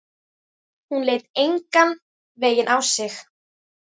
Hún leit engan veginn á sig.